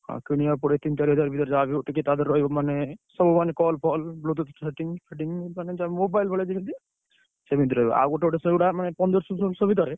ଆ କିଣିଆକୁ ପଡିବ ତିନି ଚାରି ହଜାର ଭିତରେ ଯାହାବି ହଉ ଟିକେ ତା ଧିଅରେ ରହିବ ମାନେ, ସବୁ ମାନେ call ଫଲ bluetooth fitting ମାନେ mobile ଭଳିଆ ଯେମିତି, ସେମିତି ରହିବ। ଆଉ ଗୋଟେ ଗୋଟେ ସେଗୁଡା ମାନେ ପନ୍ଦରସହ ଫନ୍ଦରସ ଭିତରେ।